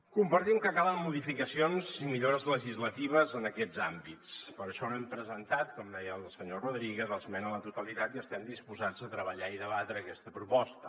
compartim que calen modificacions i millores legislatives en aquests àmbits per això no hem presentat com deia el senyor rodríguez esmena a la totalitat i estem disposats a treballar i debatre aquesta proposta